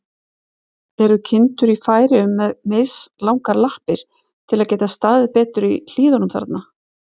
Eru kindur í Færeyjum með mislangar lappir, til að geta staðið betur í hlíðunum þar?